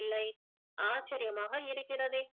இல்லை ஆச்சரியமாக இருக்கிறதே